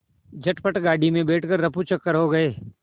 झटपट गाड़ी में बैठ कर ऱफूचक्कर हो गए